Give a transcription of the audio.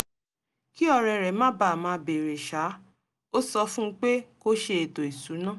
kí ọ̀rẹ́ rẹ̀ má bàa máa bèèrè ṣáá ó sọ fún un pé kó ṣe ètò ìsúná